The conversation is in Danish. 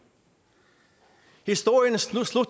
historien slutter